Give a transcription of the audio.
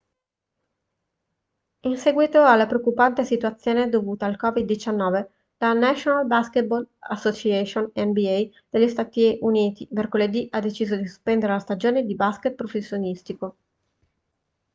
in seguito alla preoccupante situazione dovuta al covid-19 la national basketball association nba degli stati uniti mercoledì ha deciso di sospendere la stagione di basket professionistico